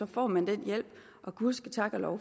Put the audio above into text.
får man den hjælp og gud ske tak og lov